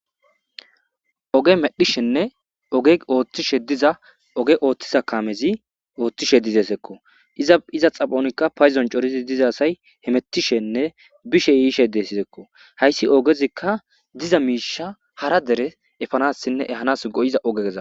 Oge medhizanne oge othiza kamezi oothishe dizesko. Iza xaphonka paydoni coridi diza asayi hemetishenne bishe yishe deseko. Haysi ogezika diza misha hara dere epanasinne ehanasi go'izaysako.